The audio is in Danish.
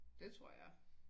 Det tror jeg